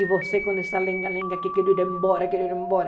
E você com essa lenga-lenga que quer ir embora, quer ir embora.